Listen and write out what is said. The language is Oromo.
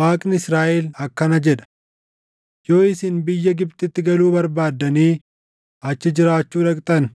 Waaqni Israaʼel akkana jedha: ‘Yoo isin biyya Gibxitti galuu barbaaddanii achi jiraachuu dhaqxan,